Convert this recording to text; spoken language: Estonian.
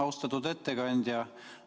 Austatud ettekandja!